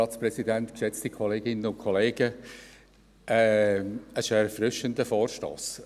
Dies ist ein erfrischender Vorstoss!